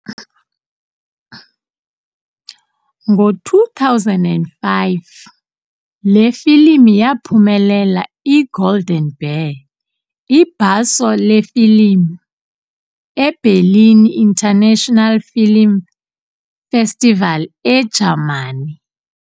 Ngo2005 le filimu yaphumelela I-Golden Bear, ibhaso lefilimu, eBerlin International Film Festival eJamani.